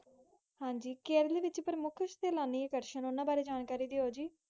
ਹਨਜੀ ਜੀ, ਕਿਰਲ ਵਿਚ ਪਰਮੁੱਖ ਸਤਾਣੀ ਆਕਰਸ਼ਣ ਬਾਰੇ ਜਾਨ ਕਰਿ ਦੀਯੋ ਜੀ